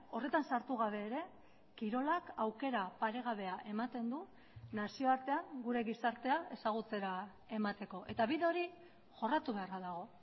horretan sartu gabe ere kirolak aukera paregabea ematen du nazioartean gure gizartea ezagutzera emateko eta bide hori jorratu beharra dago